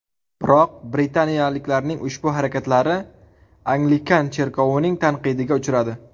Biroq britaniyaliklarning ushbu harakatlari Anglikan cherkovining tanqidiga uchradi.